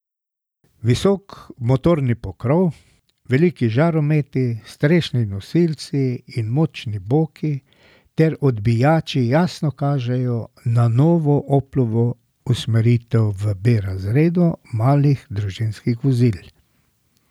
Visok motorni pokrov, veliki žarometi, strešni nosilci in močni boki ter odbijači jasno kažejo na novo Oplovo usmeritev v B razredu malih družinskih vozil.